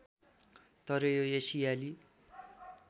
तर यो एसियाली